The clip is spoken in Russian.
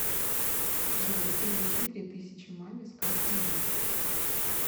джой переведи три тысячи маме с карты мир